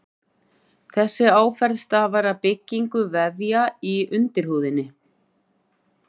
Þessi áferð stafar af byggingu vefja í undirhúðinni.